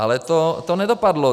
Ale to nedopadlo.